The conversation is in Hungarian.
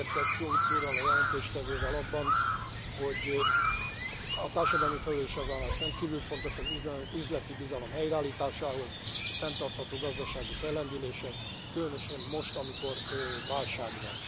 Egyetértek Howitt úrral, a jelentéstevővel abban, hogy a társadalmi felelősségvállalás rendkívül fontos az üzleti bizalom helyreállításához, a fenntartható gazdasági fellendüléshez, különösen most, amikor válság van.